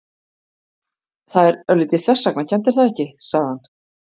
Það er örlítið þversagnakennt, er það ekki? sagði hann.